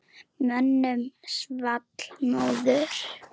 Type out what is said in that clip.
Mönnum svall móður.